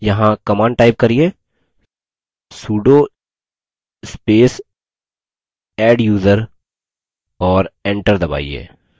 यहाँ command type करिये sudo space adduser और enter दबाइए